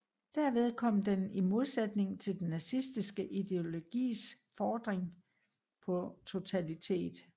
Derved kom den i modsætning til den nazistiske ideologis fordring på totalitet